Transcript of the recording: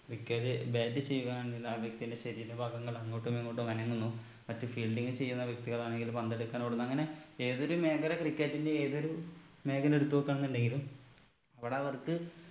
cricket bat ചെയ്യുക എന്നതിൽ ആ വ്യക്തിന്റെ ശരീര ഭാഗങ്ങൾ അങ്ങോട്ടും ഇങ്ങോട്ടും അനങ്ങുന്നു മറ്റു fielding ചെയ്യുന്ന വ്യക്തികളാണെങ്കിൽ പന്തെടുക്കാൻ ഓടുന്നു അങ്ങനെ ഏതൊരു മേഖല cricket ന്റെ ഏതൊരു മേഖല എടുത്ത് നോക്കാന്നുണ്ടെങ്കിലും അവിടെ അവർക്ക്